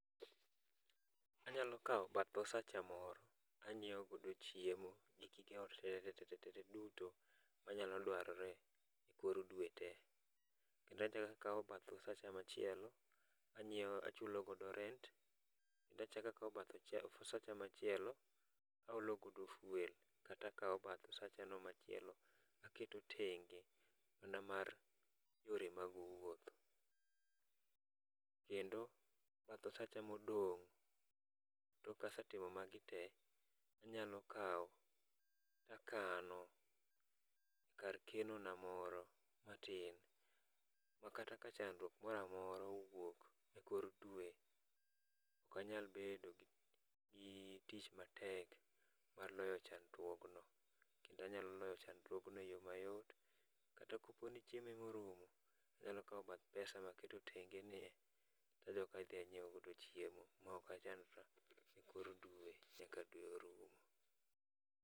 Anyalo kawo bath osacha moro anyiewo go chiemo gi gige ot tete tete te, duto manyalo dwarre ekor dwe te. Kendo achako akawo bath msacha machielo anyiew achulo godo rent kendo achako akawo machielo aolo godo fuel kato achako akawo bath osachono machielo aketo tenge mana mar yore mag wuoth, kendo bath osacha modong' kasetimo magi te, anyalo kawo to akano kar keno na moro matin makata ka chandruok moro amora owuok ekor dwe, ok anyal bedo gi tich matek mar loyo chandruog no. Kendo anyalo loyo chandruog no eyo mayot. Kata kopo ni chiemo ema orumo, anyalo kawo bath pesa ma aketo tenge nie to adok adhi anyiewo godo chiemo maok achandora ekor dwe nyaka dwe orumo.